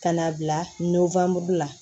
Ka n'a bila la